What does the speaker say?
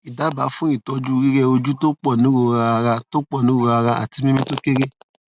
idaba fun itoju rireoju to ponirora ara to ponirora ara ati mimi to kere